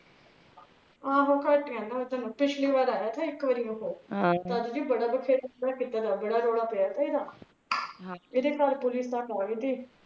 ਪਿਛਲੀ ਬਾਰ ਆਇਆ ਥਾ ਇਕ ਵਾਰੀ ਓਹ ਤਦ ਵੀ ਬੜਾ ਵਾਖੇਦਾ ਬੜਾ ਰੋਲਾ ਪਿਆ ਤਾ ਇਹਦਾ ਏਹਦੇ ਘਰ police ਤਕ ਆਗੀ ਥੀ